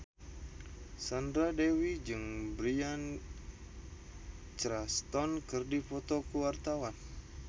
Sandra Dewi jeung Bryan Cranston keur dipoto ku wartawan